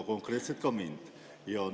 Konkreetselt katkestasite ka mind.